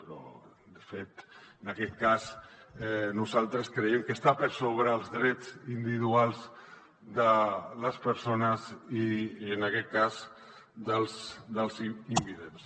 però de fet en aquest cas nosaltres creiem que estan per sobre els drets individuals de les persones i en aquest cas dels invidents